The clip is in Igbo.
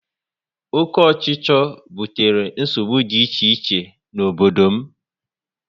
Oke ochicho butere nsogbu dị iche iche na obodo m